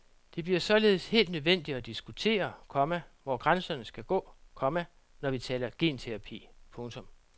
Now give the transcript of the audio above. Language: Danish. Det bliver således helt nødvendigt at diskutere, komma hvor grænserne skal gå, komma når vi taler genterapi. punktum